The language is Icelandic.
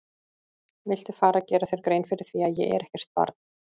Viltu fara að gera þér grein fyrir því að ég er ekkert barn!